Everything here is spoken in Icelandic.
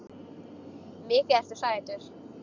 Mikið ertu sætur.